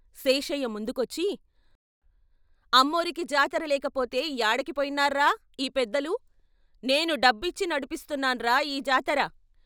శేషయ్య ముందుకొచ్చి "అమ్మోరికి జాతర లేకపోతే యాడకి పోయినార్రా ఈ పెద్దలు? నేను డబ్బిచ్చి నడిపిస్తున్నాన్రా యీ జాతర.